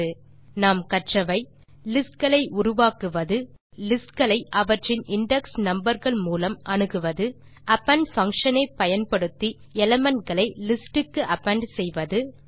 இந்த டுடோரியலில் நாம் கற்றவை லிஸ்ட் களை உருவாக்குவது லிஸ்ட் களை அவற்றின் இண்டெக்ஸ் நம்பர் கள் மூலம் அணுகுவது அப்பெண்ட் பங்ஷன் ஐ பயன்படுத்தி elementகளை லிஸ்ட் க்கு அப்பெண்ட் செய்வது